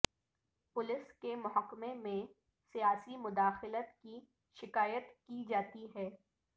police کے محکمہ میں سیاسی مداخلت کی شکایت کی جاتی ہے